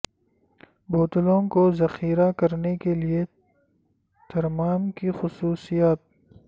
بوتلوں کو ذخیرہ کرنے کے لئے ترمام کی خصوصیات